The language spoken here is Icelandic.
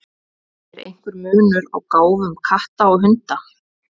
Er einhver munur á gáfum katta og hunda?